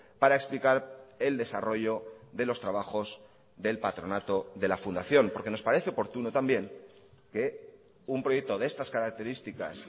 para explicar el desarrollo de los trabajos del patronato de la fundación porque nos parece oportuno también que un proyecto de estas características